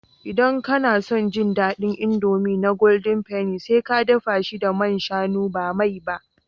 Idan kana son ji daɗin indomie na golden penny, sai ka dafa shi da man shanu ba mai ba